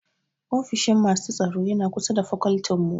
Ofishin masu tsaro yana kusa da a fakoltin mu